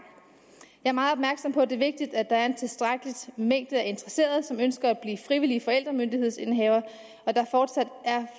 jeg er meget opmærksom på at det er vigtigt at der er en tilstrækkelig mængde interesserede som ønsker at blive frivillige forældremyndighedsindehavere og at der fortsat